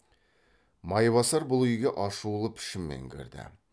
майбасар бұл үйге ашулы пішінмен кірді